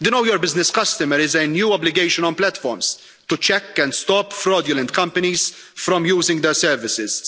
The Know Your Business Customer' is a new obligation on platforms to check and stop fraudulent companies from using their services.